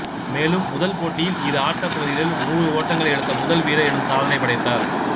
மேலும் முதல் போட்டியில் இரு ஆட்டப் பகுதிகளிலும் நூறு ஓட்டங்களை எடுத்த முதல் வீரர் எனும் சாதனை படைத்தார்